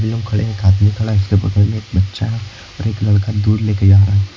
कई लोग खड़े हैं एक आदमी खड़ा है जिसके बगल में एक बच्चा है और एक लड़का दूध लेके जा रहा है।